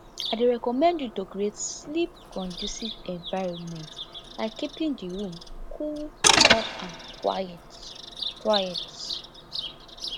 i dey recommend you to create sleepconducive environment like keeping di room cool dark and quiet quiet